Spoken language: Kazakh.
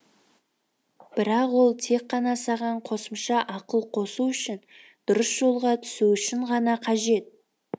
бірақ ол тек қана саған қосымша ақыл қосу үшін дұрыс жолға түсу үшін ғана қажет